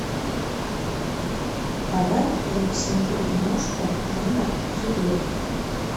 давай я посмотрю киношку жанр триллер